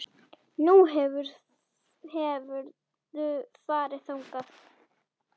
Nú, hefurðu farið þangað?